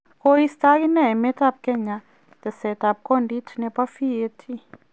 Koisot agineei emet ab Kenya teseet ab kodid nebo VAT.